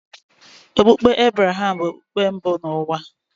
Okpukpe Ebreham bụ okpukpe mbụ n’ụwa.